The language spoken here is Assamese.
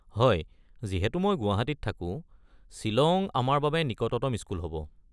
হয়, যিহেতু মই গুৱাহাটীত থাকো, শ্বিলং আমাৰ বাবে নিকটতম স্কুল হ'ব।